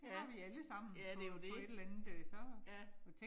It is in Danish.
Ja, ja det jo det, ja